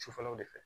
Sufɛlaw de fɛ